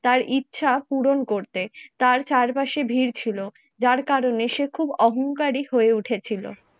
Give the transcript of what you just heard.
তার ইচ্ছা পূরণ করতে, তার চারপাশে ভিড় ছিল যার কারণে সে খুব অহংকারী হয়ে উঠেছিল।